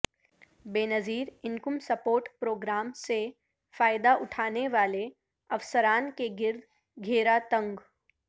بے نظیرانکم support programme سے فائدہ اٹھانے والے افسران کے گرد گھیرا تنگ